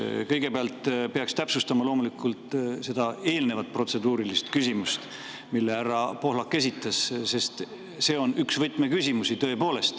Kõigepealt peaks loomulikult täpsustama eelnevat protseduurilist küsimust, mille härra Pohlak esitas, sest see on tõepoolest üks võtmeküsimusi.